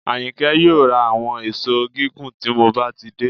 Àyìnkẹ́ yóò ra àwọn èṣó gígùn tí mo bá ti dé